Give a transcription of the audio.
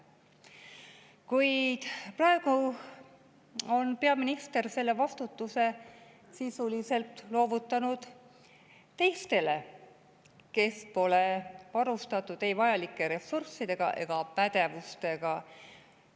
Kuid praegu on peaminister selle vastutuse sisuliselt loovutanud teistele, kes pole varustatud ei vajalike ressursside ega pädevusega.